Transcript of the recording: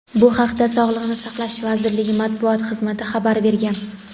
Bu haqda Sog‘liqni saqlash vazirligi Matbuot xizmati xabar bergan.